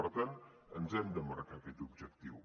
per tant ens hem de marcar aquest objectiu